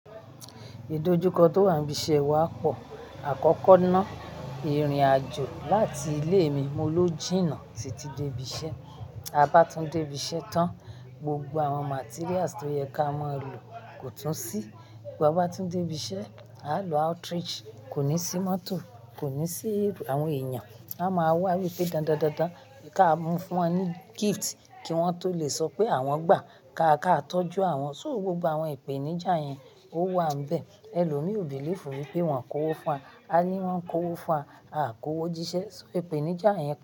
Ìdójúkọ tó wà níbi iṣẹ́ wa pọ̀. Àkọ́kọ́ náà ìrìnàjò láti ilé mi molójìnnà títí dé ibi iṣẹ́. A bá tún dé ibi iṣẹ́ tán, gbogbo àwọn materials tó yẹ ká mọ́ lo kò tún sí. Bí a bá tún dé ibi iṣẹ́, à ń lo outreach, kò ní sí mọ́tò, kò ní sí àwọn èèyàn. A máa wá wípé dáadáa dáadáa kí a mú fún wọn ní gift kí wọ́n tó lè sọ pé àwọn gbà. Ka akátójú àwọn, só gbogbo àwọn ìpèníjà yẹn ó wà n bẹ̀. Ẹlòmí ò believe wípé wọ́n kó owó fún wa. A ní wọ́n kó owó fún wa, a kó owó jíṣẹ́. Só ìpèníjà yẹn.